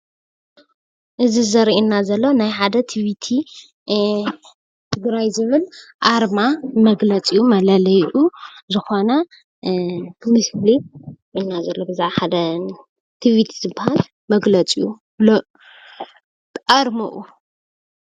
እዚ ዘርኤና ዘሎ ናይ ሓደ ቲቪቲ ትግራይ ዝብል ኣርማ መግለፂኡ መለልይኡ እዩ።